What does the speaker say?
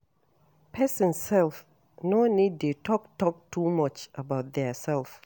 Person sef no need de talk talk too much about their self